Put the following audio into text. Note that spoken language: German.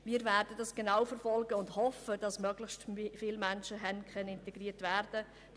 Das werden wir genau verfolgen, und wir hoffen, dass dann möglichst viele Menschen haben integriert werden können.